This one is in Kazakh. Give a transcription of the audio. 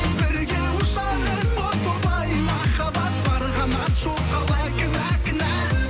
бірге ұшар ем о тоба ай махаббат бар қанат жоқ қалай кінә кінә